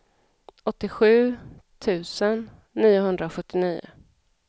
åttiosju tusen niohundrasjuttionio